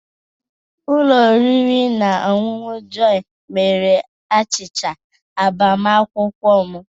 Ụlọ oriri na ọṅụṅụ Jọyi mere achịcha agbamakwụkwọ m.